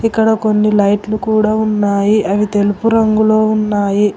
ఇక్కడ కొన్ని లైట్లు కూడా ఉన్నాయి అవి తెలుపు రంగులో ఉన్నాయి.